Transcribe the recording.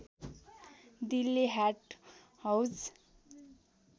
Delhi Haat Hauz